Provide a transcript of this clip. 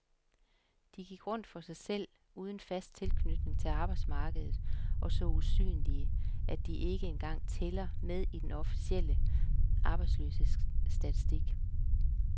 De gik rundt for sig selv, uden fast tilknytning til arbejdsmarkedet og så usynlige, at de ikke engang tæller med i den officielle arbejdsløshedsstatistik.